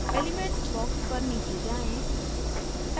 elements box पर नीचे जाएँ